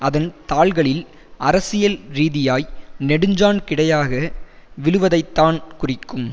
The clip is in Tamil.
அதன் தாள்களில் அரசியல் ரீதியாய் நெடுஞ்சாண் கிடையாக விழுவதைத்தான் குறிக்கும்